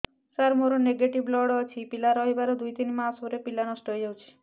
ସାର ମୋର negative blood ଅଛି ପିଲା ରହିବାର ଦୁଇ ତିନି ମାସ ପରେ ପିଲା ନଷ୍ଟ ହେଇ ଯାଉଛି